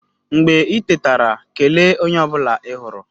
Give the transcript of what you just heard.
Mgbe i tetara, kelee onye ọ bụla ị hụrụ.